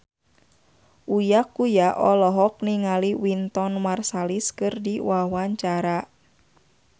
Uya Kuya olohok ningali Wynton Marsalis keur diwawancara